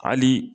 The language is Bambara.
Hali